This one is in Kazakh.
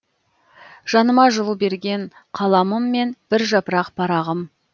жаныма жылу берген қаламым мен бір жапырақ парағым